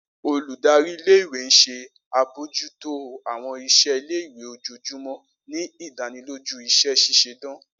Oludari ìle-ìwe n ṣe abojuto awọn iṣẹ ile-iwe ojoojumọ, ni idaniloju iṣẹ ṣiṣe dan.